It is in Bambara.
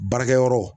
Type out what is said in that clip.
Baarakɛyɔrɔ